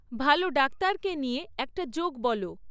ভালো ডাক্তারকে নিয়ে একটা জোক বলো